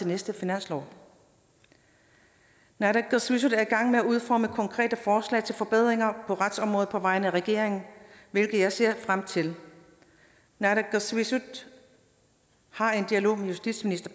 næste finanslov naalakkersuisut er i gang med at udforme konkrete forslag til forbedringer på retsområdet på vegne af regeringen hvilket jeg ser frem til naalakkersuisut har en dialog med justitsminister